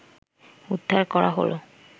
উদ্ধার করা হলো